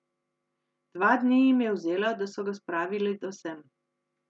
Dva dni jim je vzelo, da so ga spravili do sem.